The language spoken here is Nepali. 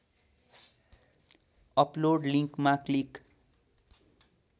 अपलोड लिङ्कमा क्लिक